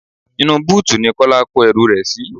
Inú búùtì ní Kọ́lá kó ẹrú rẹ sì.